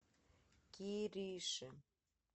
кириши